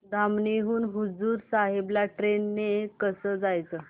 धामणी हून हुजूर साहेब ला ट्रेन ने कसं जायचं